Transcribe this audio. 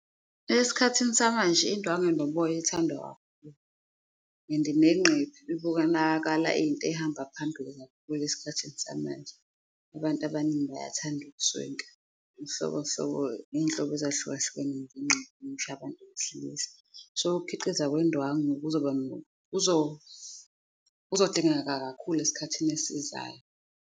Esikhathini samanje, indwangu enoboya ethandwa kakhulu and nenqephu ibonakala iyinto ehamba phambili kakhulu esikhathini samanje, abantu abaningi bayathanda ukuswenka ngey'nhlobo ezahlukahlukene . So ukukhiqizwa kwezindwangu kuzoba kuzodingeka kakhulu eskhathini esizayo.